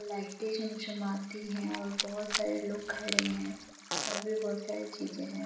Light चमचमाती है और बहुत सारे लोग खड़े है और भी बहुत सारी चीजे हैं।